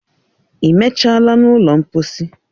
I mechala n'ụlọ mposi?